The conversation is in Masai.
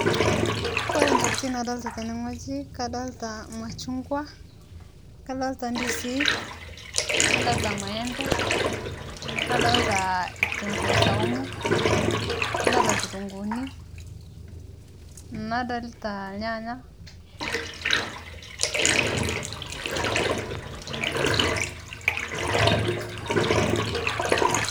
Kore ntokitin nadolita tene ng'oji, kadolita lmachungwa, kadolita ndizii nadolita lmaempe nadolita kitunguu saumu, nadolita lkutunguuni, nadolita lyaanya .